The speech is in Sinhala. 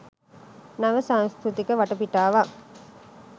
නව සංස්කෘතික වටපිටාවක්